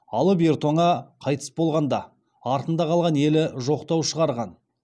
алып ер тоңа қайтыс болғанда артында калған елі жоқтау шығарған